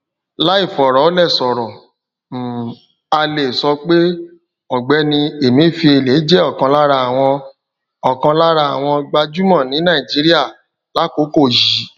láìfọrọlẹsọrọ um a le sọ pe ọgbẹni emefiele je ọkan lára àwọn ọkan lára àwọn gbajumọ ní nàìjíríà lakoko yi